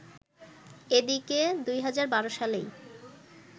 এদিকে, ২০১২ সালেই